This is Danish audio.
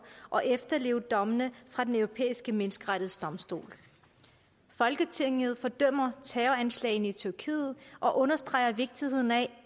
og efterleve dommene fra den europæiske menneskerettighedsdomstol folketinget fordømmer terroranslagene i tyrkiet og understreger vigtigheden af